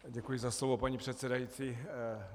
Děkuji za slovo, paní předsedající.